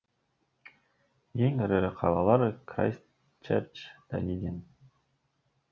ең ірі қалалар крайстчерч данидин